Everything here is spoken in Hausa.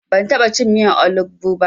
Ban taɓa cin miyan olugbu ba.